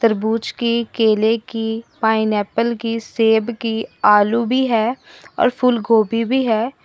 की केले की पाइनएप्पल की सेब की आलू भी है और फूलगोभी भी है।